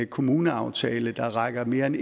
kommuneaftale der rækker mere end